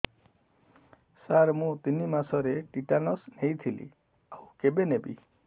ସାର ମୁ ତିନି ମାସରେ ଟିଟାନସ ନେଇଥିଲି ଆଉ କେବେ ନେବି